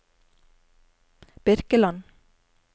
Birkeland